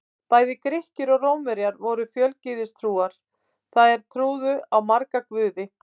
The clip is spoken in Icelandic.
Bæði Grikkir og Rómverjar voru fjölgyðistrúar, það er trúðu á marga guði.